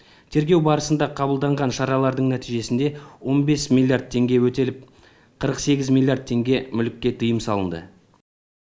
тергеу барысында қабылданған шаралардың нәтижесінде он бес миллиард теңге өтеліп қырық сегіз миллиард теңге мүлікке тыйым салынды